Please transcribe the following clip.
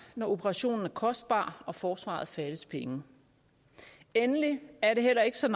når operationen er kostbar og forsvaret fattes penge endelig er det heller ikke så